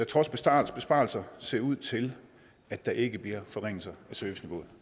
trods besparelser besparelser ser ud til at der ikke bliver forringelser af serviceniveauet